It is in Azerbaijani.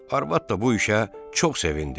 Arvad da bu işə çox sevindi.